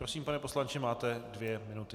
Prosím, pane poslanče, máte dvě minuty.